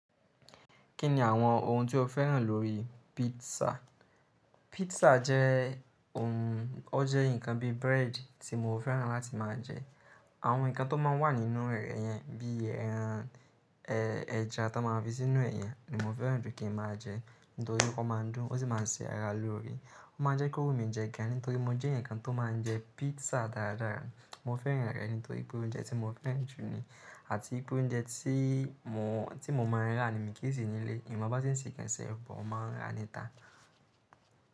Kí ni àwọn ohun tí o féràn lórí pizza? Pizza jẹ́ ohun, ó jẹ́ nnkan bí bread tí mo féràn láti máa jẹ. Àwọn nnkan tó máa n wà nínú rẹ̀ yẹn, bí ẹran, ẹja tó máa n fi sínú ẹ̀ yẹn ni mo féràn jù kí n máa jẹ nítorí pé ó máa ń dùn, ó sì máa se ara lórí. Ó máa n jẹ́ kí wu mi jẹ gan nítorí mo jẹ eeyan kan tó máa ń jẹ pizza dáradára. Mo féràn rẹ̀ nítorí pé ó jẹ́ ounje tí mo féràn jù ní àti pé ó jẹ́ ounje tí mo, tí mo mọ n rá ni mi kì í se nílé. Mi mọ bí wọn ṣe lè ṣe ẹ́, but ó máa ń rà níta.